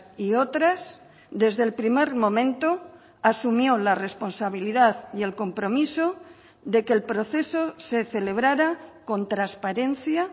y otras desde el primer momento asumió la responsabilidad y el compromiso de que el proceso se celebrara con transparencia